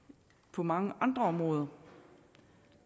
på mange andre områder